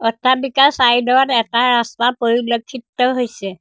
অট্টালিকাৰ চাইড ত এটা ৰাস্তা পৰিলক্ষিত হৈছে।